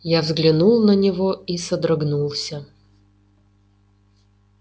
я взглянул на него и содрогнулся